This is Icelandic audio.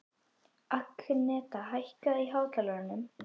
Agneta, hækkaðu í hátalaranum.